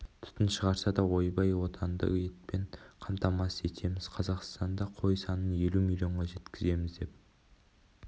түтін шығарса да ойбай отанды етпен қамтамасыз етеміз қазақстанда қой санын елу миллионға жеткіземіз деп